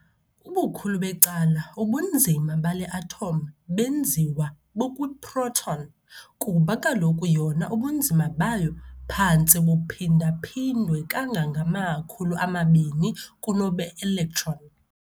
Ubukhulu becala ubunzima bale atom benziwa bukwi-proton, kuba kaloku yona ubunzima bayo phantse buphinda-phindwe kangangama-2000 kunobo be-electron.